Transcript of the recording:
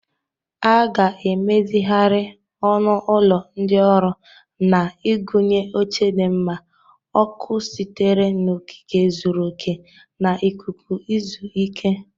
A ga-emezigharị ọnụ ụlọ ndị ọrụ na igụnye oche dị mma, ọkụ sitere n'okike zuru oke, na ikuku izu ike.